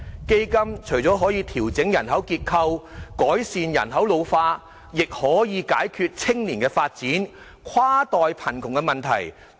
基金除了可以調整人口結構，改善人口老化，亦可以解決青年發展、跨代貧窮的問題。